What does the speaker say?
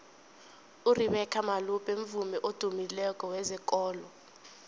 urebeca malope mvumi odumileko wezekolo